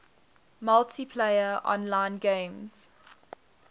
multiplayer online games